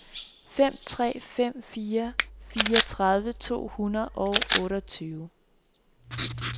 fem tre fem fire fireogtredive to hundrede og otteogtyve